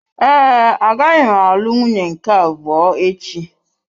Ee, agaghị m alụ nwunye nke abụọ echi.